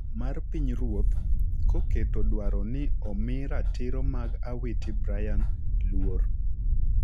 mar Pinyruoth, koketo dwaro ni omi ratiro mag Awiti Brian luor.